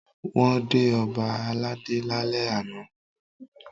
Wọ́n dé ọba aládé lálẹ́ àná.